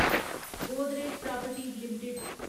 Godrej properties limited